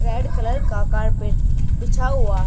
red colour का carpet बिछा हुआ--